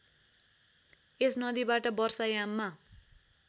यस नदीबाट वर्षायाममा